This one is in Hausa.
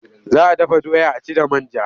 Za a dafa doya a ci da man ja.